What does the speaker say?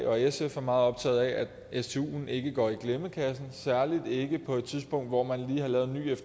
og sf meget optaget af at stuen ikke går i glemmebogen særlig ikke på et tidspunkt hvor man lige har lavet